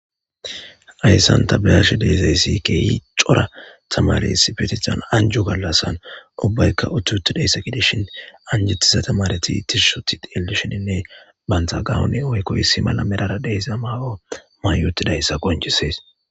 Hayssan ta be'isha dizaysi kehi c'ora taamare issippetethan anjjo gallassn ubbaykka utidi xelizayssa gidishin anjetiza taamareti tishi uti xelishin bantta gawone woykko issi medhara de'iza mayo mayi utidayssa qonc'ises .